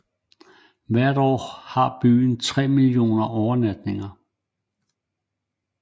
Hvert år har byen tre millioner overnatninger